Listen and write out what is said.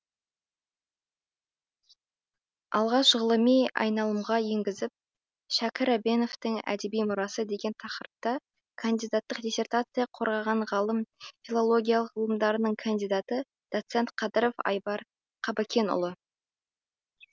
алғаш ғылыми айналымға енгізіп шәкір әбеновтың әдеби мұрасы деген тақырыпта кандидаттық диссертация қорғаған ғалым филология ғылымдарының кандидаты доцент қадыров айбар қабыкенұлы